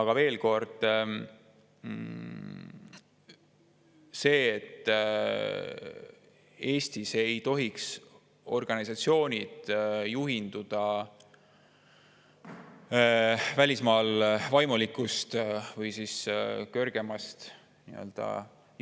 Aga veel kord: Eestis ei tohiks organisatsioonid juhinduda välismaa vaimulikust või kõrgemast